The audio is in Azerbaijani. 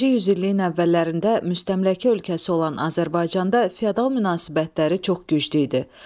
20-ci yüzilliyin əvvəllərində müstəmləkə ölkəsi olan Azərbaycanda feodal münasibətləri çox güclü idi.